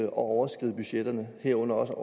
at overskride budgetterne herunder også at